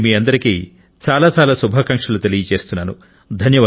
నేను మీ అందరికి చాలా చాలా శుభాకాంక్షలు తెలుపుతున్నాను